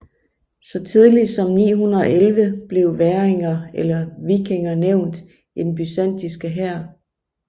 Så tidligt som 911 blev væringer eller vikinger nævnt i den byzantinske hær